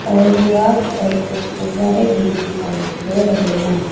और दीवार पर कुछ गुब्बारे भी दिखाइए दे रहे हैं।